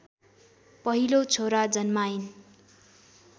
पहिलो छोरा जन्माइन्